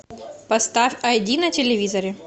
поставь ай ди на телевизоре